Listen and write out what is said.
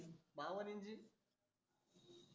बावन इंची